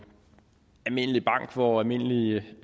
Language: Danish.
almindelig bank hvor almindelige